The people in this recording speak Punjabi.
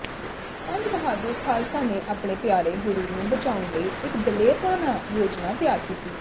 ਪੰਜ ਬਹਾਦੁਰ ਖਾਲਸਾ ਨੇ ਆਪਣੇ ਪਿਆਰੇ ਗੁਰੂ ਨੂੰ ਬਚਾਉਣ ਲਈ ਇਕ ਦਲੇਰਾਨਾ ਯੋਜਨਾ ਤਿਆਰ ਕੀਤੀ